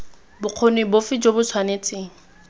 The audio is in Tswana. bokgoni bofe jo bo tshwanetseng